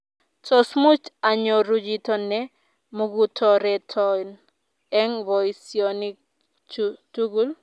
tos much anyoru chito ne mukutoreton eng' boisionik chu tugul?